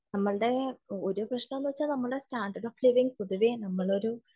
നമ്മളുടെ ഒരു പ്രശ്നം എന്താണെന്ന് വച്ചാൽ നമ്മുടെ സ്റ്റാൻഡേർഡ് ഓഫ് ലിവിങ് പൊതുവെ നമ്മളൊരു